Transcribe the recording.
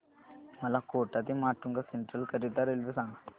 मला कोटा ते माटुंगा सेंट्रल करीता रेल्वे सांगा